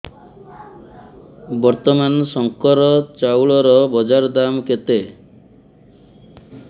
ବର୍ତ୍ତମାନ ଶଙ୍କର ଚାଉଳର ବଜାର ଦାମ୍ କେତେ